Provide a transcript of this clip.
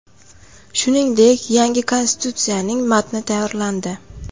Shuningdek, yangi konstitutsiyaning matni tayyorlandi.